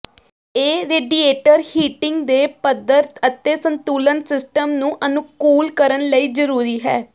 ਇਹ radiator heating ਦੇ ਪੱਧਰ ਅਤੇ ਸੰਤੁਲਨ ਸਿਸਟਮ ਨੂੰ ਅਨੁਕੂਲ ਕਰਨ ਲਈ ਜ਼ਰੂਰੀ ਹੈ